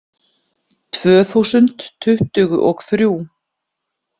Tvö þúsund tuttugu og þrjú